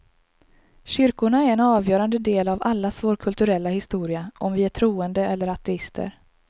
Kyrkorna är en avgörande del av allas vår kulturella historia, om vi är troende eller ateister.